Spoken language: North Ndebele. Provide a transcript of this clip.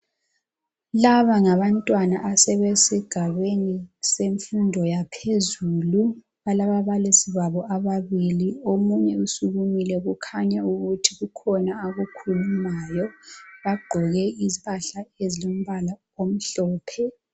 Laba ngabantwana asebesigabeni semfundo yaphezulu balababalisi babo ababili omunye usukumile kukhanya ukuthi kukhona akukhulumayo. Bagqoke impahla ezilombala omhlophe.